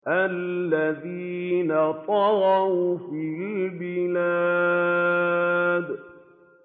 الَّذِينَ طَغَوْا فِي الْبِلَادِ